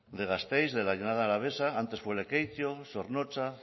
de gasteiz de la llanada alavesa antes fue lekeitio zornotza